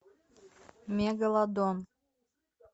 мегалодон